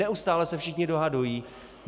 Neustále se všichni dohadují.